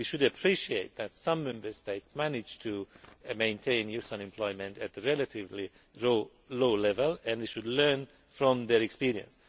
we should appreciate that some Member States manage to maintain youth unemployment at a relatively low level, and we should learn from their experience.